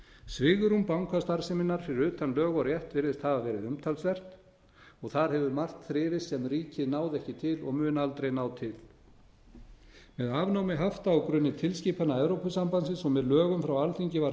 svigrúm bankastarfseminnar fyrir utan lög og rétt virðist hafa verið umtalsvert og þar hefur margt þrifist sem ríkið náði ekki til og mun aldrei ná til með afnámi hafta á grunni tilskipana evrópusambandsins og með lögum frá alþingi var